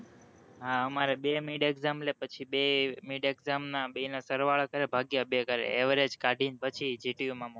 હા અમારે બે mid exam લે પછી બે mid exam ના બે ના સરવાળા કરે ભાગ્યા બે કરે average કાઢી પછી gtu માં મોકલે.